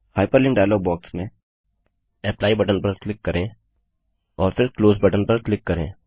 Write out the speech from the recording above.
hyperlink dialog box में apply button पर click करें और फिर क्लोज बटन पर क्लिक करें